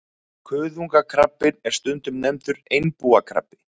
Kuðungakrabbinn er stundum nefndur einbúakrabbi.